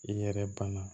I yɛrɛ banna